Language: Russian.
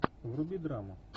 вруби драму